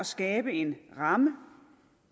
skabe en ramme